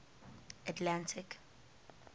atlantic